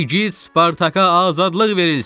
İgid Spartaka azadlıq verilsin!